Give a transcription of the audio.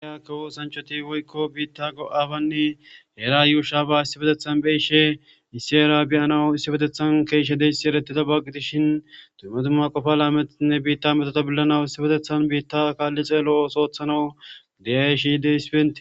kawo osaanchoti woykko biitta go7abanne eera yuushaaba issi betethan beyishe issi era beyanawu issi betethan keeshshe deyssi eretida bagi dishin tuumatumma qofalaametetinne biitta metota billanawu issi betethan biitta kaalli xeelo soothanawu gidiyashide hisbente